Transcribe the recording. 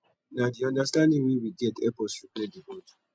na di understanding wey we get help us repair di bond